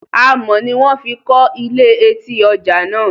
Amọ̀ ni wón fi kọ́ ilé etí ọjà náà